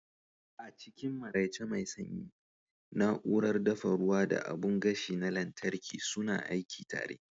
A cikin maraice mai sanyi, na'urar dafa ruwa da abun gashi na lantarki suna aiki tare.